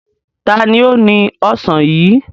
Ta ni ó ni ọ̀sán yìí?